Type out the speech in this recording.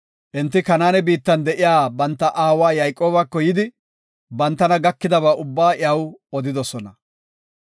Enti Kanaane biittan de7iya banta aawa Yayqoobako yidi, bantana gakidaba ubbaa iyaw odidosona.